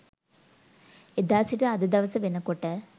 එදා සිට අද දවස වෙනකොට